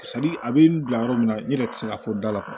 a bɛ n bila yɔrɔ min na n yɛrɛ tɛ se ka fɔ da la